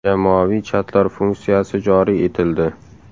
Jamoaviy chatlar funksiyasi joriy etildi.